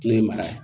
Ne ye mara ye